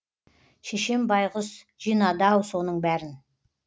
шешем байғұс жинады ау соның бәрін